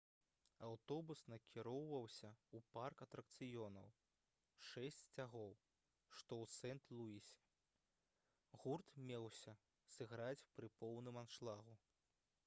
аўтобус накіроўваўся ў парк атракцыёнаў «шэсць сцягоў» што ў сент-луісе. гурт меўся сыграць пры поўным аншлагу